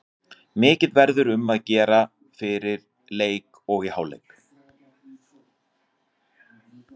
Mikið verður um að gera fyrir leik og í hálfleik.